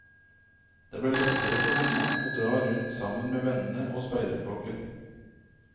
Det ble lettere for henne å dra rundt sammen med vennene og speiderflokken.